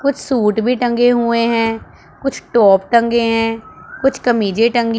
कुछ सूट भी टंगे हुए हैं कुछ टॉप टंगे है कुछ कमीजें टंगी--